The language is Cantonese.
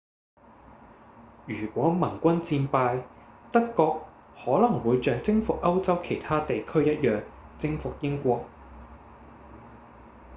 如果盟軍戰敗德國可能會像征服歐洲其他地區一樣征服英國